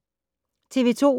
TV 2